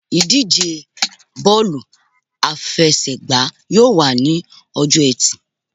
Ìdíje bọ́ọ̀lù àfẹsẹ̀gbá yóò wà ní ọjọ́-ẹtì.